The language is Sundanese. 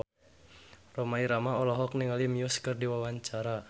Rhoma Irama olohok ningali Muse keur diwawancara